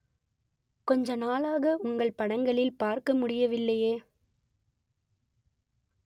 கொஞ்ச நாளாக உங்கள் படங்களில் பார்க்க முடியவில்லையே